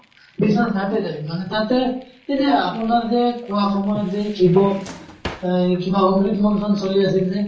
বিশ্বনাথ ঘাটে যায় মানে তাতে এই যে আপোনাৰ যে কোৱা সময়ত যে শিৱ এই কিবা অমৃত মন্থান চলি আছিল যে